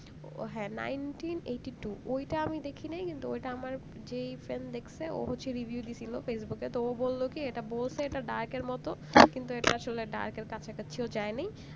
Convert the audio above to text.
ওহ হ্যাঁ nineteen eighty two ঐটা আমি দেখিনাই কিন্তু ঐটা আমার যেই friend দেখছে ও হচ্ছে review দিছিলো ফেইসবুক এ তো ও বললো কি এটা বলসে এটা dark এর মতো কিন্তু এটা আসলে dark এর কাঁচা কাছিও যায় নাই